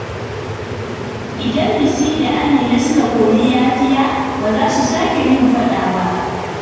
Idan Bisi da Amina suka koyi yafiya, ba za su sake yin faɗa ba.